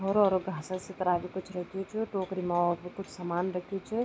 होरु-होरु घास सी तरह बि कुछ रख्युं च टोकरी मा और भी कुछ सामान रख्युं च।